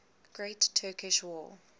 great turkish war